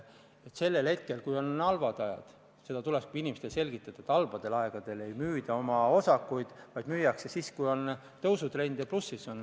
Kui on halvad ajad, siis tulebki inimestele selgitada, et halbadel aegadel ei müüda oma osakuid, vaid müüakse siis, kui on tõusutrend ja seis on plussis.